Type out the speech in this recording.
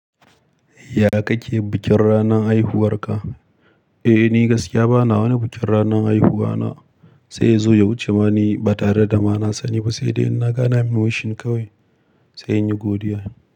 Ya ka ke bikin ranan haihuwar ka? Eh ni gaskiya bana wani bikin ranan haihuwa na, sai ya zo ya wuce ma ni ba tare da ma na sani ba, sai dai in na ga'ana min wushin kawai sai in yi godiya.